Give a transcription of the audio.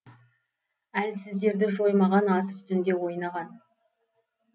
әлсіздерді жоймаған ат үстінде ойнаған